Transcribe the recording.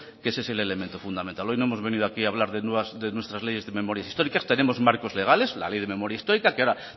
que ese es el elemento fundamental hoy no hemos venido aquí hablar de nuestras leyes de memorias históricas tenemos marcos legales la ley de memoria histórica que ahora